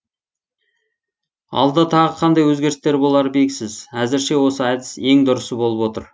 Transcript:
алда тағы қандай өзгерістер болары белгісіз әзірше осы әдіс ең дұрысы болып отыр